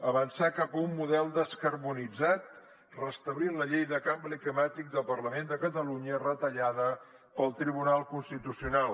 avançar cap a un model descarbonitzat restablint la llei de canvi climàtic del parlament de catalunya retallada pel tribunal constitucional